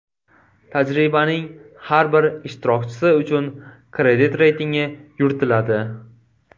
Tajribaning har bir ishtirokchisi uchun kredit reytingi yuritiladi.